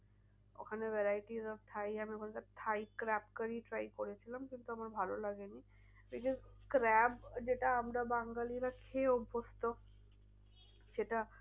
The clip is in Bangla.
ওখানে varieties of thai আমি ওখানকার thai capcarry করেছিলাম কিন্তু আমার ভালো লাগেনি because আমরা যেটা বাঙালিরা খেয়ে অভ্যস্ত সেটা